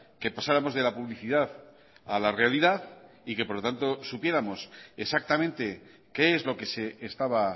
que pasáramos de la publicidad a la realidad y que por lo tanto supiéramos exactamente qué es lo que se estaba